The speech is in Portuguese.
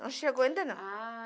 Não chegou ainda não. Ah